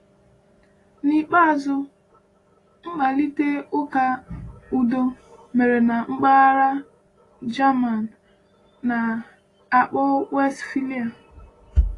N’ikpeazụ, mkparịta ụka udo mere na mpaghara German a na-akpọ Westphalia.